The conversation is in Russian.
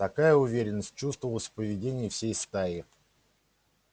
такая уверенность чувствовалась в поведении всей стаи